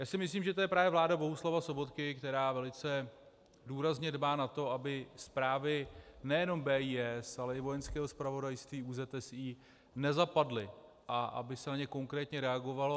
Já si myslím, že to je právě vláda Bohuslava Sobotky, která velice důrazně dbá na to, aby zprávy nejenom BIS, ale i Vojenského zpravodajství, ÚZSI nezapadly a aby se na ně konkrétně reagovalo.